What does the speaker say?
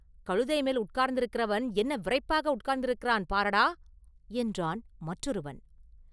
“கழுதை மேல் உட்கார்ந்திருக்கிறவன் என்ன விறைப்பாக உட்கார்ந்திருக்கிறான் பாரடா!” என்றான் மற்றொருவன்.